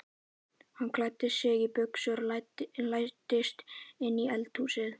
Hann klæddi sig í buxur og læddist inn í eldhúsið.